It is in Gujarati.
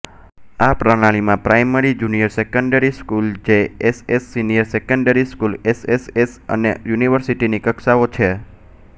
આ પ્રણાલિમાં primary junior secondary school JSS senior secondary school SSS અને યુનિવર્સિટીની કક્ષાઓ છે